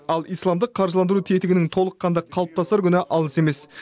ал исламдық қаржыландыру тетігінің толыққанды қалыптасар күні алыс емес